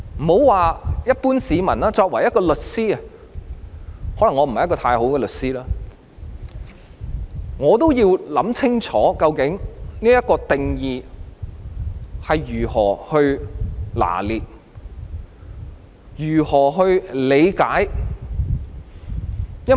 別說一般市民，我作為一名律師——可能我不是出色的律師——我也要想清楚究竟應如何拿捏和理解這個定義。